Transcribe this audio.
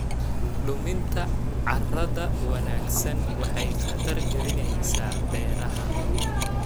Luminta carrada wanaagsan waxay khatar gelinaysaa beeraha.